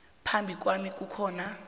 phambi kwami ngikhona